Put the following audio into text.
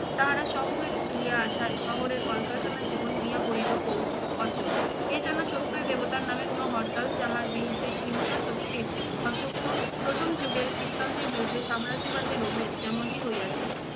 তাহারা শহর হইতে চলিয়া আসায় শহরে কলকারখানার জীবন হইয়া পড়িল পুঙ্গ অচল। এ যেনো সত্যই দেবতার নামে কোনো হরতাল, যাহার বিরুদ্ধে হিংস্র শক্তি অসক্ত প্রথম যুগের খ্রিস্টানদের বিরুদ্ধে সাম্রাজ্যবাদী রোমের যেমনটি হইয়াছিল।